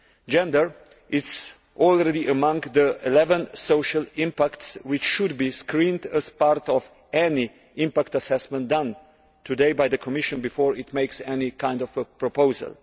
Gender is already among the 11 forms of social impact which should be screened as part of any impact assessment carried out today by the Commission before it makes any kind of proposal.